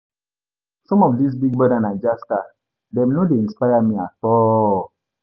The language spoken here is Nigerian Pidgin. Some of dis Big Brother Naija star dem no dey inspire me at all.